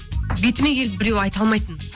бетіме келіп біреу айта алмайтын